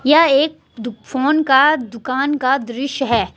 यह एक फोन का दुकान का दृश्य है।